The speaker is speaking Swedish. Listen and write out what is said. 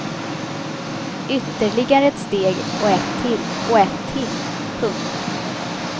Ytterligare ett steg och ett till och ett till. punkt